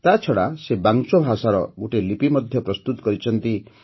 ତାଛଡ଼ା ସେ ବାଂଚୋ ଭାଷାର ଗୋଟିଏ ଲିପି ମଧ୍ୟ ପ୍ରସ୍ତୁତ କରିଛନ୍ତି